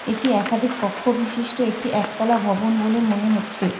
এটি একাধিক কক্ষ বিশিষ্ট একটি একতলা ভবন বলে মনে হচ্ছে।